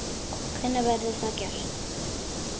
Hvenær verður það gert?